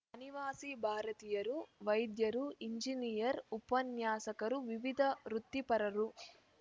ಅನಿವಾಸಿ ಭಾರತೀಯರು ವೈದ್ಯರು ಇಂಜಿನಿಯರ್ ಉಪನ್ಯಾಸಕರು ವಿವಿಧ ವೃತ್ತಿಪರರು